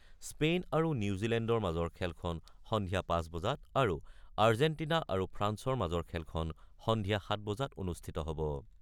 Spain আৰু নিউজিলেণ্ডৰ মাজৰ খেলখন সন্ধিয়া ৫ বজাত আৰু আৰ্জেটিনা আৰু ফ্ৰান্সৰ মাজৰ খেলখন সন্ধিয়া ৭ বজাত অনুষ্ঠিত হ'ব।